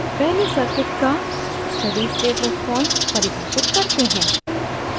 पहले circuit का steady state response परिभाषित करते हैं